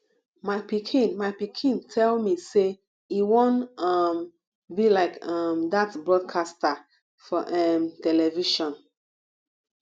my pikin my pikin tell me say e wan um be like um dat broadcaster for um television